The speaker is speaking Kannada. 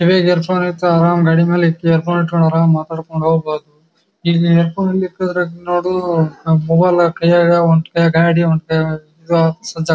ಕಿವ್ಯಾಗ ಇಯರ್ ಫೋನ್ ಇರ್ಥಾವ್ ಅರಾಮ್ ಗಾಡಿ ಮೇಲೆ ಇಕ್ಕಿ ಇಯರ್ ಫೋನ್ ಇಟ್ಟಕೊಂಡ್ ಅರಾಮ್ ಮಾತಾಡಕೊಂಡ ಹೋಗಬಹುದು. ಇಲ್ಲಿ ಇಯರ್ ಫೋನ್ ಇಕ್ಕದ್ರ ನೋಡು ನಮ್ಮ ಮೊಬೈಲ್ ಕೈಯಾಗ್ ಒಂದ್ ಕೈಯಾಗ್ ಗಾಡಿ ಒಂದ್ ಕೈಗ್